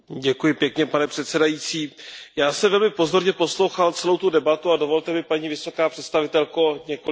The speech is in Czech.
Pane předsedající, já jsem velmi pozorně poslouchal celou tu debatu a dovolte mi, paní vysoká představitelko, několik vět.